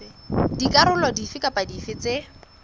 dikarolo dife kapa dife tse